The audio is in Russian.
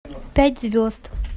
пять звезд